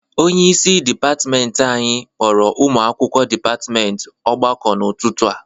Onyeisi dịpatịmentị anyị kpọrọ ụmụ akwụkwọ dịpatịmentị ọgbakọ n'ụtụtụ a.